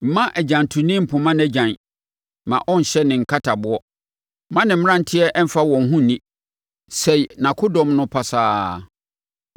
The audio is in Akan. Mma agyantoni mpoma nʼagyan, mma ɔnhyɛ ne nkataboɔ. Mma ne mmeranteɛ mfa wɔn ho nni; sɛe nʼakodɔm no pasaa.